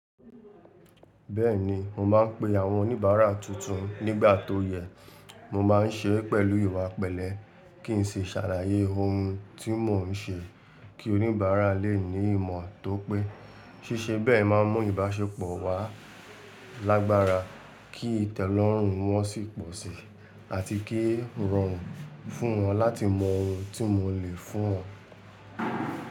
Bẹ́ẹ̀ni, mo máa ń pe àwọn oníbàárà tuntun nígbà tó yẹ. Mo máa ń ṣe pẹ̀lú ìwà pẹ̀lẹ́ kí ń ṣe ṣhàlàyé oun tí mò ń ṣe kí oníbàárà lé ní ìmọ̀ tó pé. Sísẹ bẹ́ẹ̀ máa n mú ìbáṣepọ̀ wà lágbára, kí ìtẹ́lọ́rùn wọ́n sì pọ̀ si, àti kí irọrùn fún wọn láti mọ oun tí mo lè fún wọn.